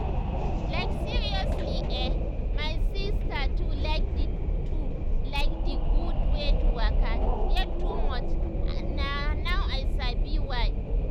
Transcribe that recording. like seriously eh my sister too like d too like d gud wey to waka get too much and na now i sabi why.